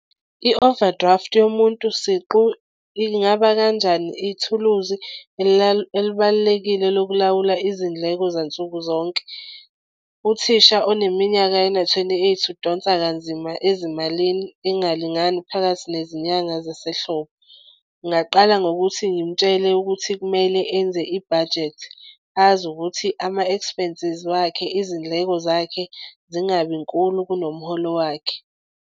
I-overdraft yomuntu siqu ingaba kanjani ithuluzi elibalulekile lokulawula izindleko zansukuzonke. Uthisha oneminyaka ena-twenty-eight udonsa kanzima ezimalini engalingani phakathi nezinyanga zasehlobo. Ngingaqala ngokuthi ngimtshele ukuthi kumele enze i-budget azi ukuthi ama-expences wakhe izindleko zakhe zingabinkulu kunomholo wakhe.